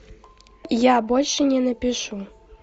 я больше не напишу